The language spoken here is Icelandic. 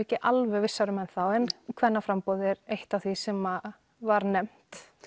ekki alveg vissar um ennþá en kvennaframboðið er eitt af því sem var nefnt